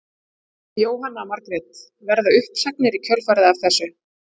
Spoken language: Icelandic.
Jóhanna Margrét: Verða uppsagnir í kjölfarið af þessu?